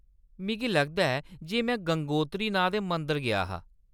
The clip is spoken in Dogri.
मिगी लगदा ऐ जे में गंगोत्री नांऽ दे मंदर गेआ हा।